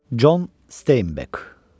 Con Steinbeck.